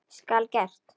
Skal gert!